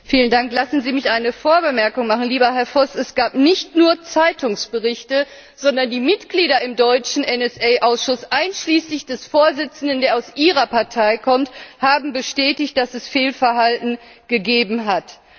Frau Präsidentin! Lassen Sie mich eine Vorbemerkung machen. Lieber Herr Voss, es gab nicht nur Zeitungsberichte, sondern die Mitglieder im deutschen NSA Ausschuss einschließlich des Vorsitzenden, der aus Ihrer Partei kommt haben bestätigt, dass es Fehlverhalten gegeben hat.